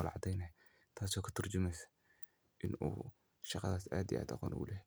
kamuqato kalsonan.